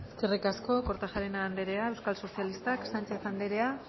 horixe eskerri asko kortajarena andrea euskal sozialistak sánchez anderea